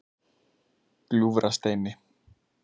Gljúfrasteini